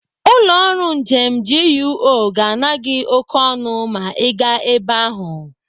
Ụlọ ọrụ njem GUO ga-ana gị oké ọnụ ma Ị gaa ebe ahụ.